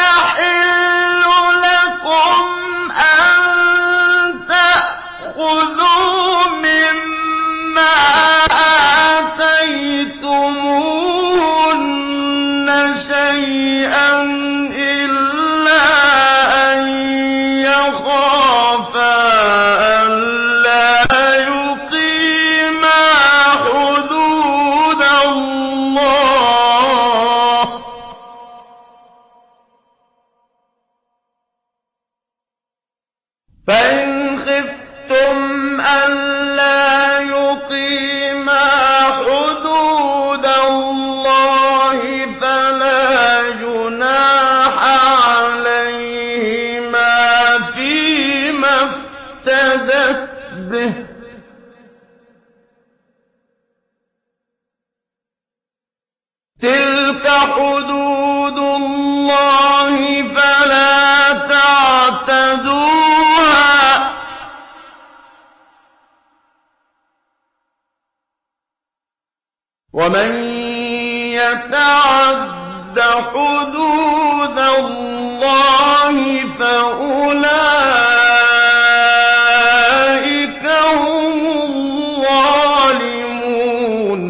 يَحِلُّ لَكُمْ أَن تَأْخُذُوا مِمَّا آتَيْتُمُوهُنَّ شَيْئًا إِلَّا أَن يَخَافَا أَلَّا يُقِيمَا حُدُودَ اللَّهِ ۖ فَإِنْ خِفْتُمْ أَلَّا يُقِيمَا حُدُودَ اللَّهِ فَلَا جُنَاحَ عَلَيْهِمَا فِيمَا افْتَدَتْ بِهِ ۗ تِلْكَ حُدُودُ اللَّهِ فَلَا تَعْتَدُوهَا ۚ وَمَن يَتَعَدَّ حُدُودَ اللَّهِ فَأُولَٰئِكَ هُمُ الظَّالِمُونَ